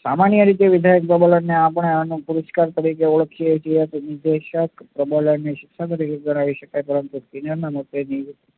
સામાન્ય રીતે પ્રબલન ને આમ પણ પુરસ્કાર તરીકે ઓળખીએ તેમ વિશ્લેષક પ્રબલન ને પરંતુ દુનિયામાં મતભેદની